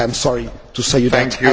I am sorry to say this